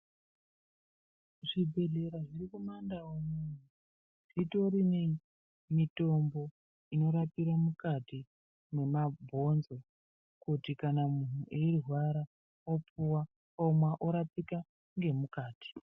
Zvibhehlera zviri kumandau unono zvitori nei nemitombo inorapire mukati mwemabhonzo kuti kana munhu eirwara opuwa omwa orapika ngemukati.